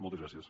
moltes gràcies